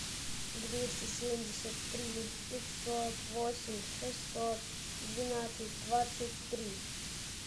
двести семьдесят три пятьсот восемь шестьсот двенадцать двадцать три